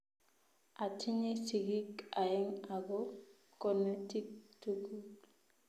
Atinye sigiik aeng ago konetik tugul